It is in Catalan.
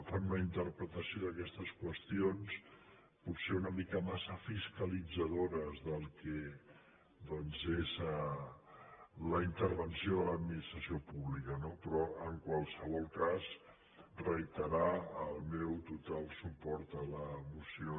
fan una interpretació d’aquestes qüestions potser una mica massa fiscalitzadora del que doncs és la intervenció de l’administració pública no però en qualsevol cas reiterar el meu total suport a la moció